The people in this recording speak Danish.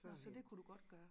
Nå så dét kunne du godt gøre?